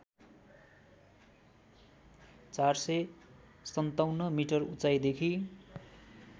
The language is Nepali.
४५७ मिटर उचाइदेखि